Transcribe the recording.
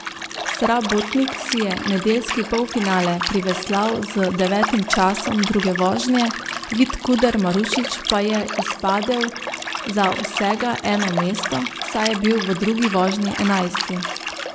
Srabotnik si je nedeljski polfinale priveslal z devetim časom druge vožnje, Vid Kuder Marušič pa je izpadel za vsega eno mesto, saj je bil v drugi vožnji enajsti.